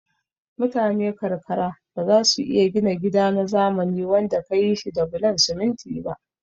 Mutane karkara bazasu iya gina gida na zamani wanda kayi shi da bulon siminti ba